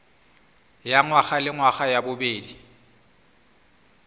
ya ngwagalengwaga ya bobedi ya